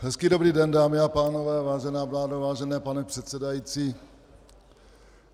Hezký dobrý den, dámy a pánové, vážená vládo, vážený pane předsedající.